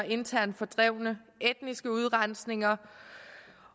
internt fordrevne etniske udrensninger